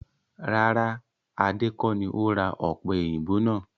Rárá! Adé kọ ní ó ra ọ̀pẹ̀yìnbo náà